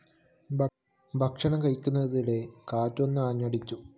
ഭക്ഷണം കഴിക്കുന്നതിനിടെ കാറ്റൊന്ന് ആഞ്ഞടിച്ചു